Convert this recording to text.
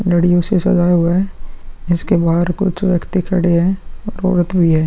लड़ियों से सजाया हुआ है। इसके बाहर कुछ व्यक्ति खड़े हैं। औरत भी है।